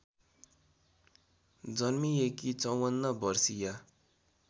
जन्मिएकी ५४ वर्षीया